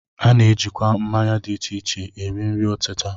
A na-ejikwa mmanya dị iche iche eri nri ọtịta